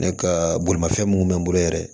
Ne ka bolimafɛn mun bɛ n bolo yɛrɛ